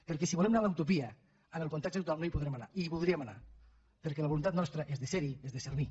perquè si volem anar a la utopia en el context actual no hi podrem anar i hi voldríem anar perquè la voluntat nostra és de ser hi és de servir